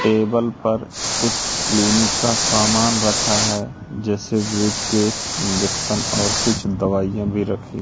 table पर कुछ clinic का सामान रखा है जैसे वेब केस इंजेक्शन और कुछ दवाइयां भी रखी--